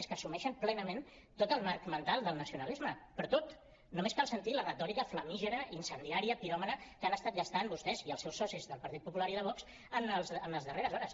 és que assumeixen plenament tot el marc mental del nacionalisme però tot només cal sentir la retòrica flamígera incendiària piròmana que han estat gastant vostès i els seus socis del partit popular i de vox en les darreres hores